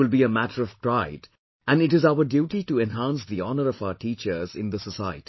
It will be a matter of pride and it is our duty to enhance the honour of our teachers in the society